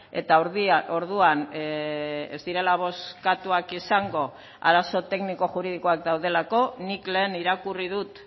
eta orduan ez direla bozkatuak izango arazo tekniko juridikoak daudelako nik lehen irakurri dut